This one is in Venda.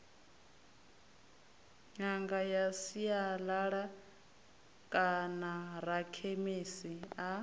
ṅanga ya sialala kanarakhemisi a